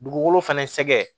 Dugukolo fɛnɛ sɛgɛn